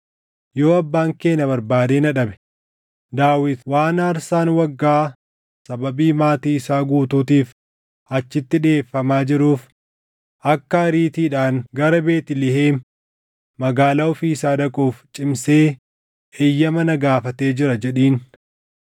Yoo abbaan kee na barbaadee na dhabe, ‘Daawit waan aarsaan waggaa sababii maatii isaa guutuutiif achitti dhiʼeeffamaa jiruuf akka ariitiidhaan gara Beetlihem magaalaa ofii isaa dhaquuf cimsee eeyyama na gaafatee jira’ jedhiin.